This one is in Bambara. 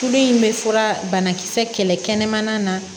Tulo in bɛ fura banakisɛ kɛlɛ kɛnɛmana na